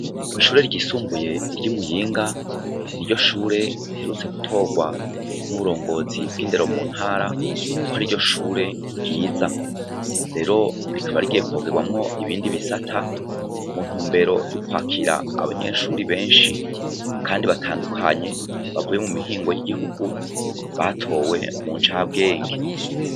Kwishure ryisumbuye ryi muyinga niryoshure riherutswe gutorwa nuburongozi bwindero mu ntara kwariryo shure ryiza rero rikaba rigiye kongerwamwo ibindi bisata muntumbero ryokwakira abanyeshure benshi kandi batandukanye bavuye mumihingo yigihugu batowe muncabwenge